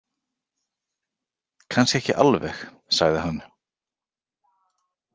Kannski ekki alveg, sagði hann.